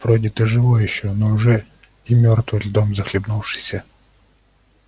вроде ты и живой ещё но уже и мёртвый льдом захлебнувшийся